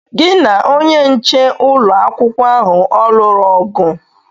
Gị na onye nche ụlọ akwụkwọ ahụ ọ lụrụ ọgụ?